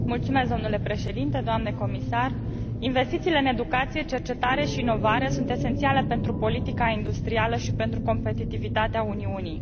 Domnule președinte, doamnă comisar, investițiile în educație, cercetare și inovare sunt esențiale pentru politica industrială și pentru competitivitatea Uniunii.